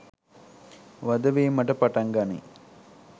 වධ වීමට පටන් ගනියි.